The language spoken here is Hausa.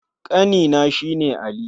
Ƙanena shi ne Ali.